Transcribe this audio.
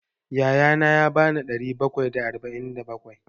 Ya ya na ya ba ni ɗari bakwai da arba'in da bakwai.